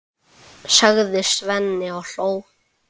sagði Svenni og hló.